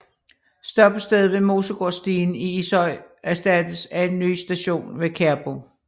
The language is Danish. Stoppestedet ved Mosegårdsstien i Ishøj erstattes af en ny station ved Kærbo